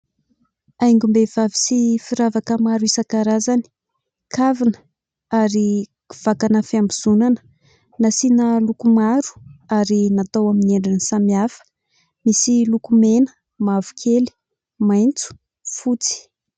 Haingom-behivavy sy firavaka maro isan-karazany kavina ary vakana fiambozonana nasiana loko maro ary natao amin'ny endriny samihafa misy loko mena mavo kely maitso fotsy.